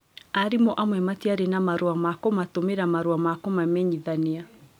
Arimũ amwe matiarĩ na marũa ma kũmatũmĩra marũa ma kũmamenyithania.